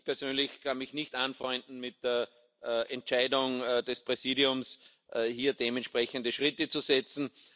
Ich persönlich kann mich nicht anfreunden mit der Entscheidung des Präsidiums, hier dementsprechende Schritte zu setzen.